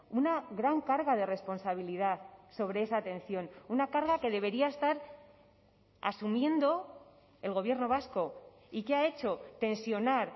una gran carga de responsabilidad sobre esa atención una carga que debería estar asumiendo el gobierno vasco y qué ha hecho tensionar